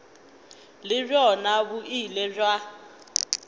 le bjona bo ile bja